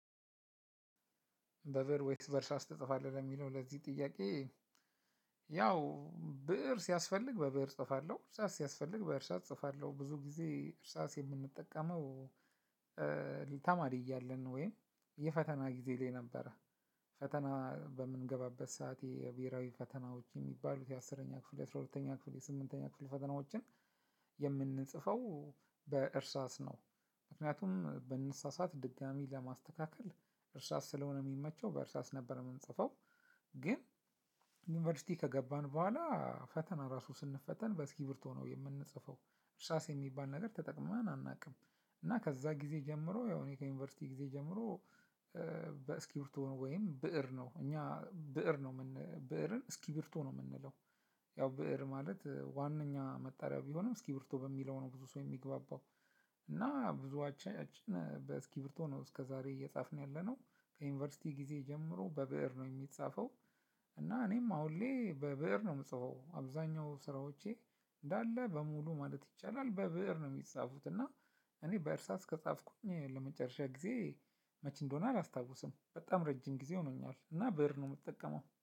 በብእር ወይስ በእርሳስ ትጽፋለህ ለሚለው ለዚህ ጥያቄ? ያው ብእር ሲያስፈልግ በብእር እጽፋለሁ እርሳስ ሲያስፈልግ በእርሳስ እጽፋለሁ ብዙ ጊዜ እርሳስ የምንጠቀመው ተማሪ እያለን ወይም የፈተና ጊዜ ላይ ነበረ ፈተና በምንገባበት ሰዓት የብሄራዊ ፈተናዎች የሚባሉት የአስረኛ ክፍል የአስራ ሁለተኛ ክፍል የስምንተኛ ክፍል ፈተናዎችን የምንጽፈው በእርሳስ ነው ምክንያቱም ብንሳሳት ድጋሚ ለማስተካከል እርሳስ ስለሆነ የሚመቸው በእርሳስ ነበር የምንፅፈው። ግን ዩኒቨርሲቲ ከገባን በኋላ ፈተና ራሱ ስንፈተን በእስክርቢቶ ነው የምንጽፈው እርሳስ የሚባል ነገር ተጠቅመን አናውቅም እና ከዛ ጊዜ ጀምሮ ያው እኔ ከዩኒቨርሲቲ ጊዜ ጀምሮ በእስክርቢቶ ወይም ብእር ነው እኛ ብእር ነው ብእርን እስኪ ብርቶ ነው የምንለው። ያው ብእር ማለት ዋናኛ መጠሪያው ቢሆንም እስክርቢቶ በሚለው ነው ብዙ ሰው የሚግባባው። እና ብዙወቻችን በእስክርቢቶ ነው እስከዛሬ እየጻፍን ያለነው ከዩኒቨርሲቲ ጊዜ ጀምሮ በብእር ነው የሚጻፈው። እና እኔም አሁን ላይ በብእር ነው የምጽፈው አብዛኛው ስራዎቸ እንዳለ በሙሉ ማለት ይቻላል በብእር ነው የሚፃፉት። እና እኔ በእርሳስ ከጻፍኩኝ ለመጨረሻ ጊዜ መቼ እንደሆነ አላስታውስም። በጣም ረጅም ጊዜ ሆኖኛል እና ብእር ነው የምጠቀመው